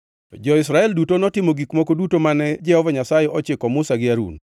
Jo-Israel duto notimo gik moko duto mane Jehova Nyasaye ochiko Musa gi Harun,